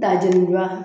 Da jenijura